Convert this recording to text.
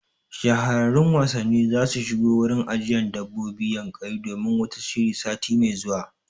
Shahararrun wasanni zasu shigo wurin ajiyan dabbobin Yankari domin wata shiri sati mai zuwa